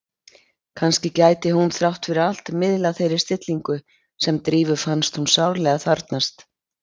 Kannski gæti hún þrátt fyrir allt miðlað þeirri stillingu sem Drífu fannst hún sárlega þarfnast.